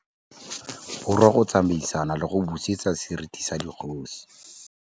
Borwa go tsamaisana le go busetsa seriti sa dikgosi.